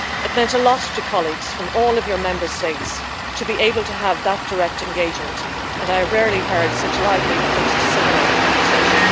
It meant a lot to colleagues from all of your Member States to be able to have that direct engagement and I have rarely heard such lively post-seminar conversation.